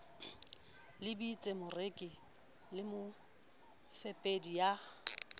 lebelletse moreki le mofepedi ya